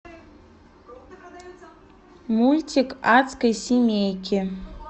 мультик адской семейки